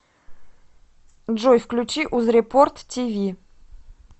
джой включи узрепорт ти ви